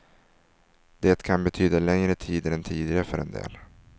Det kan betyda längre tider än tidigare för en del.